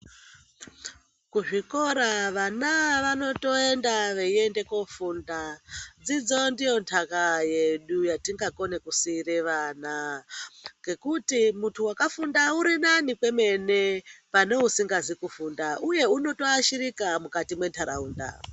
Kuzvikora vana vanotoenda veiende kofunda dzidzo ndiyo ntaka yedu yatingakone kusiire vana ngekuti muntu wakafunda urinani kwemene pane usingazi kufunda uye unotoashirika mukati mwentaraunda.